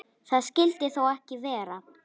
Það skyldi þó ekki vera.